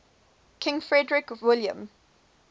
king frederick william